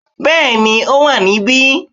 Bẹ́ẹ̀ni ó wà níbí